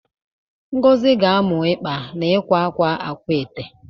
Ngozi ga-amụ ịkpa na ịkwa akwa akwaete.